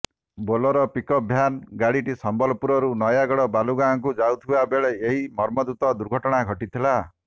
Bolero pickup van ଗାଡିଟି ସମ୍ବଲପୁରରୁ ନୟାଗଡ଼ ବାଲୁଗାଁକୁ ଯାଉଥିବା ବେଳେ ଏହି ମର୍ମନ୍ତୁଦ ଦୁର୍ଘଟଣା ଘଟିଥିଲା